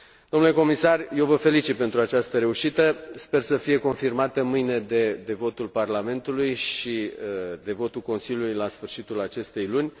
Dle Comisar, eu vă felicit pentru această reușită, sper să fie confirmată mâine de votul Parlamentului și de votul Consiliului la sfârșitul acestei luni.